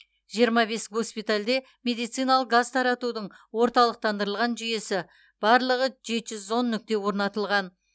жиырма бес госпитальде медициналық газ таратудың орталықтандырылған жүйесі барлығы жеті жүз он нүкте орнатылған